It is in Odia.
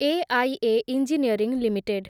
AIA engineering limited